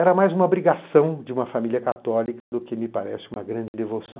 Era mais uma abrigação de uma família católica do que, me parece, uma grande devoção.